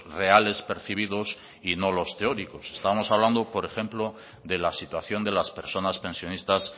reales percibidos y no los teóricos estamos hablando por ejemplo de la situación de las personas pensionistas